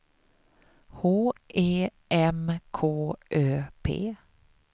H E M K Ö P